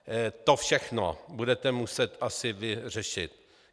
To všechno budete muset asi vy řešit.